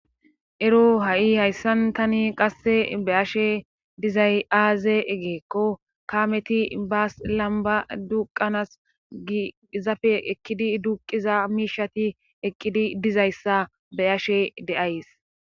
ero ha7i hayssan tani qasse be ashe dizay aaze egeekko kaameti baas lamba duqanas gi zafe ekkidi duqiza miishati eqqidi dizayssa be ashe de7ays